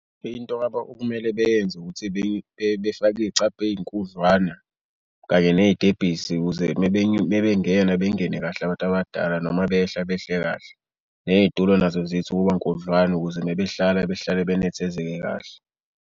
Into okumele bayenze ukuthi befake iy'cabha ey'nkudlwana kanye ney'tebhisi ukuze uma bengena bengene kahle abantu abadala noma behla behle kahle. Neyitulo nazo zithi ukuba nkudlwana ukuze uma behlala behlale benethezeke kahle.